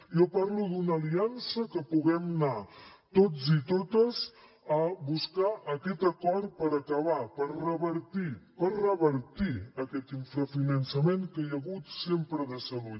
jo parlo d’una aliança que puguem anar tots i totes a buscar aquest acord per acabar per revertir per revertir aquest finançament que hi ha hagut sempre de salut